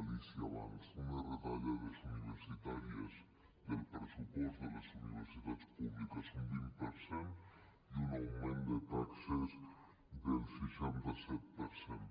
alícia abans unes retallades universitàries del pressupost de les universitats públiques d’un vint per cent i un augment de taxes del seixanta set per cent